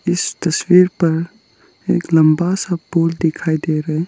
इस तस्वीर पर एक लंबा सा पूल दिखाई दे रहे --